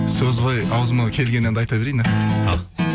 сөз ғой ауызыма келген әнді айта берейін ал